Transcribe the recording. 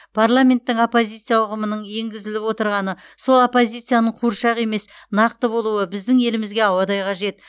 парламенттің оппозиция ұғымының енгізіліп отырғаны сол оппозицияның қуыршақ емес нақты болуы біздің елімізге ауадай қажет